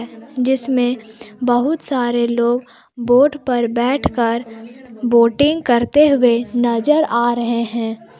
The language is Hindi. जिसमें बहुत सारे लोग बोट पर बैठकर बोटिंग करते हुए नजर आ रहे हैं।